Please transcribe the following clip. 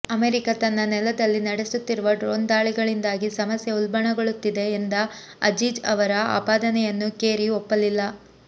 America ತನ್ನ ನೆಲದಲ್ಲಿ ನಡೆಸುತ್ತಿರುವ ಡ್ರೋನ್ ದಾಳಿಗಳಿಂದಾಗಿ ಸಮಸ್ಯೆ ಉಲ್ಬಣಗೊಳ್ಳುತ್ತಿದೆ ಎಂದ ಅಜೀಜ್ ಅವರ ಆಪಾದನೆಯನ್ನು ಕೆರಿ ಒಪ್ಪಲಿಲ್ಲ